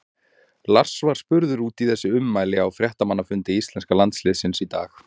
Lars var spurður út í þessi ummæli á fréttamannafundi íslenska landsliðsins í dag.